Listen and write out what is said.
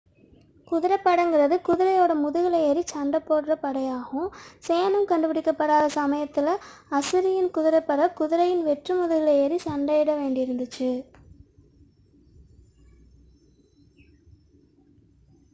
குதிரைப்படை என்பது குதிரையின் முதுகில் ஏறிச் சண்டையிடும் படையாகும் சேணம் கண்டுபிடிக்கப்பட்டாத சமயத்தில் அஸ்ஸிரியன் குதிரைப்படை குதிரையின் வெற்று முதுகில் ஏறி சண்டையிட வேண்டியிருந்தது